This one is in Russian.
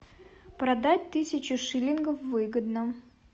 продать тысячу шиллингов выгодно